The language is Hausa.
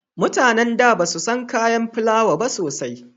Mutanen da basu san kayan filawa ba sosai